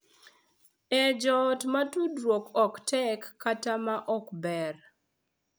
E joot ma tudruok ok tek kata ma ok ber,